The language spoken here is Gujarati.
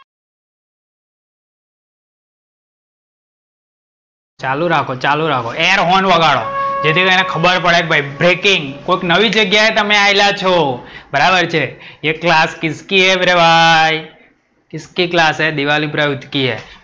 ચાલુ રાખો, ચાલુ રાખો. air horn વગાડો. જેથી એને ખબર પડે કે ભાઈ breaking. કોઈક નવી જગ્યા એ તમે આયલા છો. બરાબર છે ये क्लास किसकी है मेरे भाई? ते क्लास उसकी है